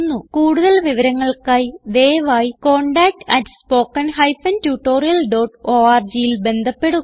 കൂടുതൽ വിവരങ്ങൾക്കായി ദയവായി contactspoken tutorialorgൽ ബന്ധപ്പെടുക